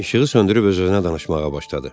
İşığı söndürüb öz-özünə danışmağa başladı.